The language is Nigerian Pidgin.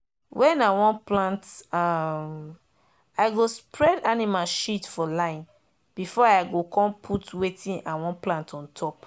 when i wan plant um i go spread animal shit for line before i go cum put wetin i wan plant on top